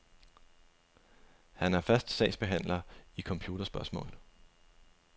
Han er fast sagsbehandler i computerspørgsmål.